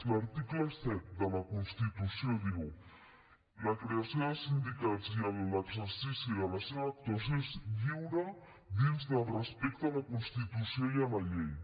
l’article siete de la constitució diu la creació de sindicats i l’exercici de la seva actuació és lliure dins del respecte a la constitució i a la llei